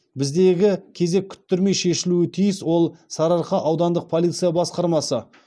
біздегі кезек күттірмей шешілуі тиіс ол сарыарқа аудандық полиция басқармасы